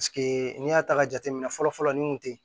n'i y'a ta ka jateminɛ fɔlɔ fɔlɔ nin kun tɛ